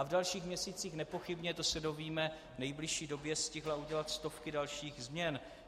A v dalších měsících nepochybně, to se dozvíme v nejbližší době, stihla udělat stovky dalších změn.